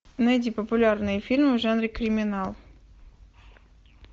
найди популярные фильмы в жанре криминал